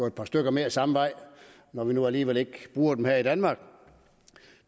et par stykker mere samme vej når vi nu alligevel ikke bruger dem her i danmark